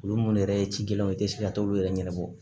Olu munnu yɛrɛ ye cikɛlaw ye tɛ se ka t'olu yɛrɛ ɲɛnabɔ